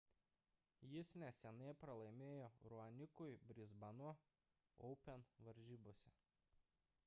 jis neseniai pralaimėjo raonikui brisbano open varžybose